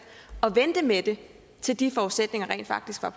og vente med det til de forudsætninger rent faktisk er